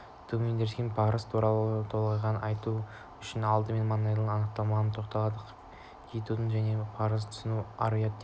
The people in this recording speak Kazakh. төменіректе парыз туралы толығырақ айту үшін алдымен мынандай анықтамаларға тоқтала кетуді қажет деп санаймын парызды түсіну ар-ұят деп